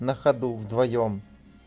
на ходу вдвоём